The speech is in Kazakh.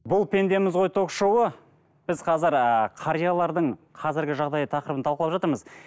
бұл пендеміз ғой ток шоуы біз қазір ы қариялардың қазіргі жағдайы тақырыбын талқылап жатырмыз